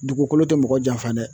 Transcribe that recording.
Dugukolo tɛ mɔgɔ janfa dɛ.